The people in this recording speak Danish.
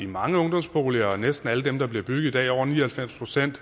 mange ungdomsboliger næsten alle dem der bliver bygget i dag over ni og halvfems procent